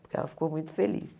Porque ela ficou muito feliz.